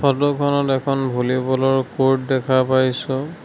ফটোখনত এখন ভল্লীবলৰ কৰ্ট দেখা পাইছোঁ।